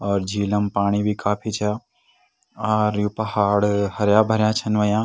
और झीलम पाणी भी काफी छा आर यु पहाड़ हर्या भर्या छन हुयां।